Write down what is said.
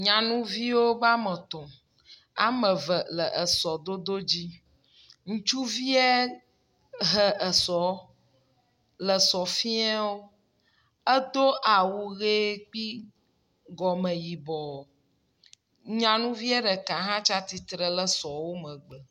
Nyanuviwo be ame etɔ̃. Ame eve le esɔdodo dzi. Ŋutsuvia he esɔ le sɔ fia wo. Edo awu ʋe kpi gɔme yibɔ. Nyanuvie ɖeka hã tsi tsitre ɖe sɔa megbe.